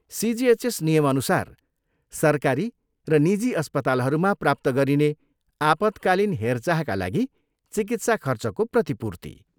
CGSS नियमअनुसार सरकारी र निजी अस्पतालहरूमा प्राप्त गरिने आपत्कालीन हेरचाहका लागि चिकित्सा खर्चको प्रतिपूर्ति।